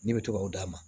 Ne bɛ to ka o d'a ma